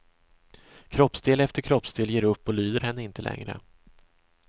Kroppsdel efter kroppsdel ger upp och lyder henne inte längre.